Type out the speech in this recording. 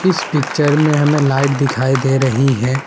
इस पिक्चर में हमें लाइट दिखाई दे रही हैं ।